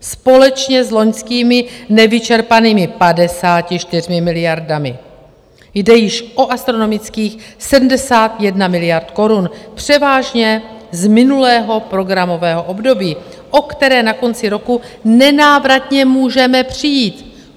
Společně s loňskými nevyčerpanými 54 miliardami jde již o astronomických 71 miliard korun, převážně z minulého programového období, o které na konci roku nenávratně můžeme přijít.